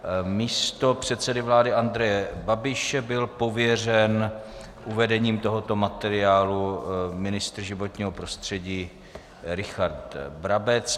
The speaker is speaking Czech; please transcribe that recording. Místo předsedy vlády Andreje Babiše byl pověřen uvedením tohoto materiálu ministr životního prostředí Richard Brabec.